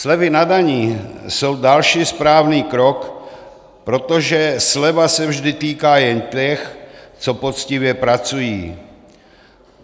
Slevy na daních jsou další správný krok, protože sleva se vždy týká jen těch, co poctivě pracují.